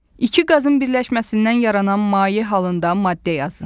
İki qazın birləşməsindən yaranan maye halında maddə yazın.